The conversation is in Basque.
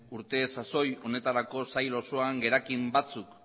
urte sasoi honetarako sail osoan gerakin batzuk